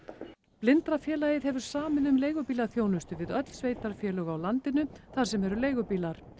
Blindrafélagið hefur samið um leigubílaþjónustu við öll sveitarfélög á landinu þar sem eru leigubílar